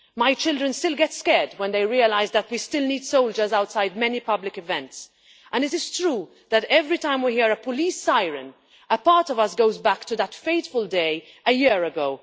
My children still get scared when they realise that we still need soldiers outside many public events, and it is true that every time we hear a police siren, a part of us goes back to that fateful day a year ago.